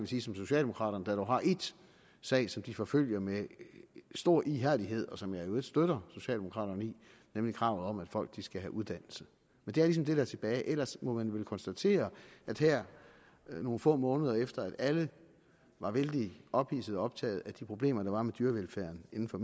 siges om socialdemokraterne der jo har en sag som de forfølger med stor ihærdighed og som jeg i øvrigt støtter socialdemokraterne i nemlig kravet om at folk skal have uddannelse men det er ligesom det der er tilbage ellers må man vel konstatere at her nogle få måneder efter at alle var vældig ophidsede og optaget af de problemer der var med dyrevelfærden inden for